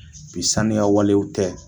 Bi saniya walew tɛ